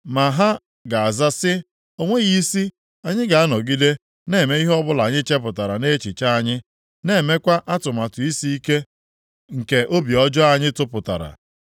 Ma ha ga-aza sị, ‘O nweghị isi! Anyị ga-anọgide na-eme ihe ọbụla anyị chepụtara nʼechiche anyị, na-emekwa atụmatụ isiike nke obi ọjọọ anyị tụpụtara.’ ”